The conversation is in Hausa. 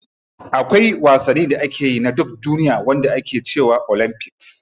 Akwai wasanni da ake yi na duk duniya wanda ake cewa olympics.